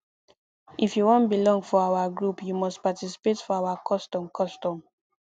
if you wan belong for our group you must participate for our custom custom